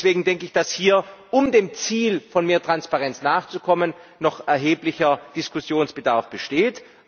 Deswegen denke ich, dass hier, um dem Ziel von mehr Transparenz nachzukommen, noch erheblicher Diskussionsbedarf besteht.